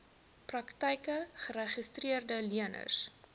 praktyke geregistreede leners